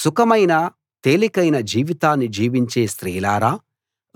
సుఖమైన తేలికైన జీవితాన్ని జీవించే స్త్రీలారా